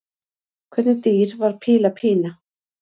Hvernig dýr var Píla Pína?